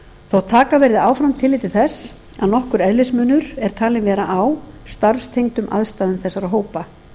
þótt taka verði áfram tillit til þess að nokkur eðlismunur er talinn vera á starfstengdum aðstæðum þessara hópa